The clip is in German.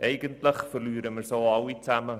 Eigentlich verlieren wir so alle.